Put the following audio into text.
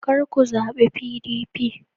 Kar ku zabi PDP.